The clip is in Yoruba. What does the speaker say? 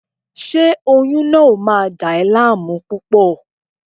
Ṣé oyún náà ò máa dà ẹ́ láàmú púpọ̀?